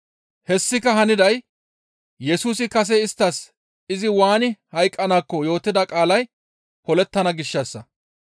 Hessika haniday Yesusi kase isttas izi waani hayqqanaakko yootida qaalay polettana gishshassa.